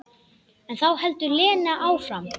En þá heldur Lena áfram.